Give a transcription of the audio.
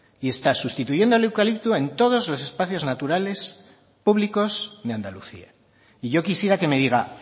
y está sustituyendo el eucalipto en todos los espacios naturales públicos de andalucía y yo quisiera que me diga